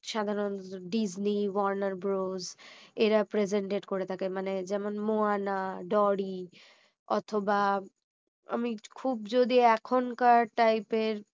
সাধারণ disney warner bros এরা presented করে থাকে মানে যেমন moana dori অথবা আমি খুব যদি এখনকার type এর